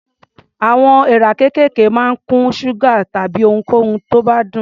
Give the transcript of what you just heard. Àwọn èèrà kéékèèké máa ń kun ṣúgà tàbí ohunkóhun tó bá dùn.